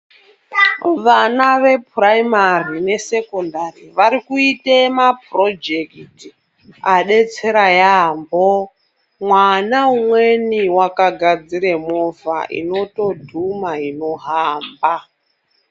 Vana vepuraimari nesekondari varikuite mapurojekiti adetsera yambo mwana umweni wakagadzire movha inotodhuma inohamba.